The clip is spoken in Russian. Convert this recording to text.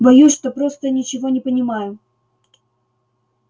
боюсь что просто ничего не понимаю